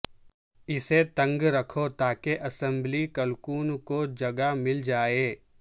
اسے تنگ رکھو تاکہ اسمبلی کلکوں کو جگہ مل جائے